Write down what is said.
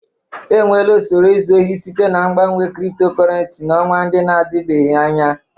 Enweela usoro izu ohi site na mgbanwe cryptocurrency n'ọnwa ndị na-adịbeghị anya.